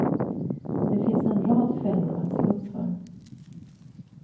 Det finns en rad fällor att se upp för.